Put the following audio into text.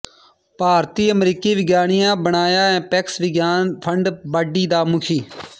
ਭਾਰਤੀ ਅਮਰੀਕੀ ਵਿਗਿਆਨੀ ਬਣਿਆ ਅਪੈਕਸ ਵਿਗਿਆਨ ਫੰਡ ਬਾਡੀ ਦਾ ਮੁਖੀ